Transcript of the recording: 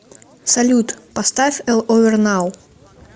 салют поставь эл овер нау